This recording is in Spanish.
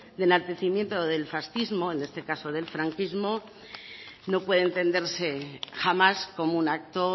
de enaltecimiento del fascismo en este caso del franquismo no puede entenderse jamás como un acto